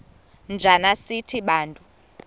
njana sithi bantu